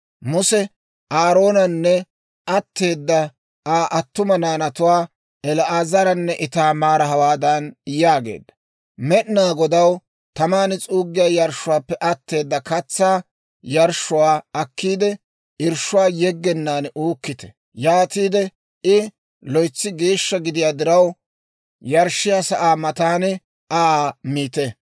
Muse Aaroonanne atteeda Aa attuma naanatuwaa El"aazaranne Itaamaara hawaadan yaageedda; «Med'inaa Godaw taman s'uuggiyaa yarshshuwaappe atteeda katsaa yarshshuwaa akkiide; irshshuwaa yeggenaan uukkite; yaatiide I loytsi geeshsha gidiyaa diraw, yarshshiyaa sa'aa matan Aa miite.